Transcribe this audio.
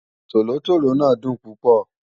Tólótóló náà dùn púpọ̀